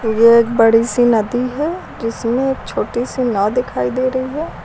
एक बड़ी सी नदी है जिसमें छोटी सी नाव दिखाई दे रही है।